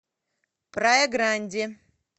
прая гранди